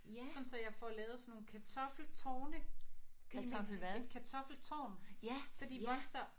Sådan så jeg får lavet sådan nogle kartoffeltårne i min et kartoffeltårn så de vokser